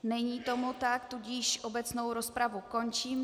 Není tomu tak, tudíž obecnou rozpravu končím.